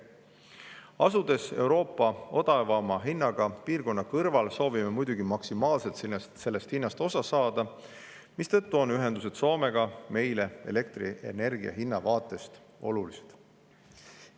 Asudes Euroopa odavaima hinnaga piirkonna kõrval, soovime muidugi maksimaalselt sellest hinnast osa saada, mistõttu on ühendused Soomega meile elektrienergia hinna vaatest olulised.